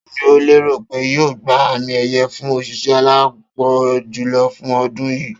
Ta ni o lérò pé yóò gba àmì è̩ye̩ fún òs̩ìs̩é̩ aláápo̩n jùlo̩ fún o̩dún yìí?